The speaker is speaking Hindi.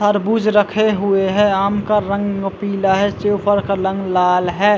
तरबूज रखे हुए है आम का रंग पीला है सेवफल का रंग लाल है।